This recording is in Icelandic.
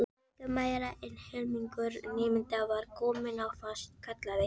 Þegar meira en helmingur nemenda var kominn á fast, kallaði